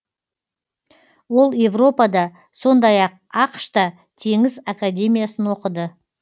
ол европада сондай ақ ақш та теңіз академиясын оқыды